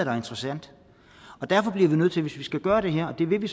er interessant og derfor bliver vi nødt til hvis vi skal gøre det her og det vil vi